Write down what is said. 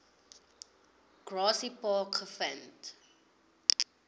grassy park gevind